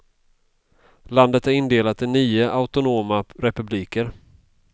Landet är indelat i nio autonoma republiker.